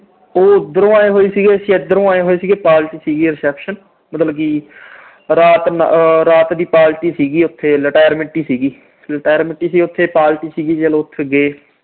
ਉਹ ਉਧਰੋਂ ਆਏ ਹੋਏ ਸੀਗੇ, ਅਸੀਂ ਇਧਰੋਂ ਆਏ ਹੋਏ ਸੀਗੇ। party ਸੀਗੀ reception ਮਤਲਬ ਕਿ ਰਾਤ ਅਹ ਰਾਤ ਦੀ party ਸੀਗੀ ਉਥੇ retirement ਹੀ ਸੀਗੀ। retirement ਹੀ ਸੀਗੀ, party ਸੀਗੀ, ਜਦੋਂ ਉਥੇ ਗਏ।